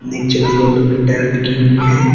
नीचे दीवालो पे टाइल लगी हुई है।